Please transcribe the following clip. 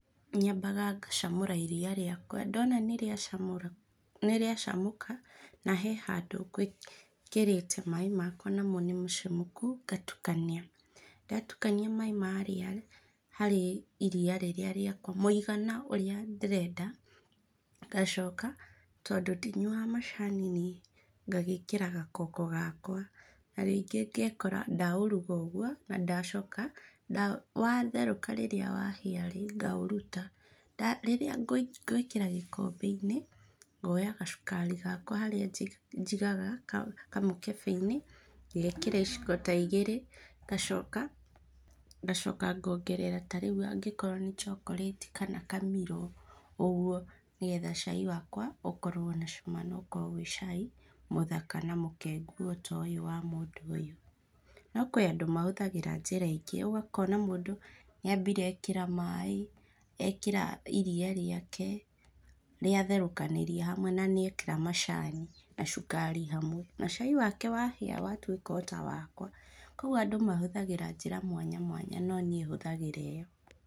Nyambaga ngacamũra iria rĩakwa, ndona nĩ rĩacamũka na hena handũ ngwĩrĩte maĩ makwa namo nĩmacamũku ngatukania. Ndatukania maĩ marĩa harĩ iria rĩrĩa rĩakwa mũigana ũrĩa ndĩrenda, ngacoka tondũ ndinyuaga macani rĩ, ngagĩkĩra gakoko gakwa na rĩngĩ ngekora ndaũruga ũguo na ndacoka watherũka rĩrĩa wahĩa rĩ, ngaũruta. Rĩrĩa ngwĩkĩra gĩkombe-inĩ, ngoya gacukari gakwa harĩa njigaga kamũkembe-inĩ ngekĩra iciko ta igĩrĩ, gacoka ngongerera ta rĩu angĩkorwo ni chocolate kana kamilo ũguo, nĩgetha cai wakwa ũkorwo na cama na ũkorwo ũrĩ cai mũthaka na mũkengũ o ta ũyũ wa mũndũ ũyũ. No kũrĩ andũ mahũthagĩra njĩra ingĩ, ũkona mũndũ nĩambire ekĩra maaĩ, ekĩra iria rĩake rĩatherũkanĩria hamwe na nĩ ekĩra macani na cukari hamwe, na cai wake wahĩa watuĩka o ta wakwa . Koguo andũ mahũthagira njĩra mwanyamwanya no niĩ hũthagĩra ĩyo.